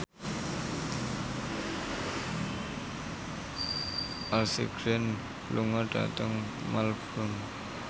Ashley Greene lunga dhateng Melbourne